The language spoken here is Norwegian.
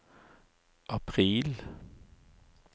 april